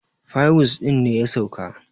fiwus ɗin ne ya sauka